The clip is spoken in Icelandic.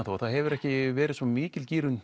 það hefur ekki verið svo mikil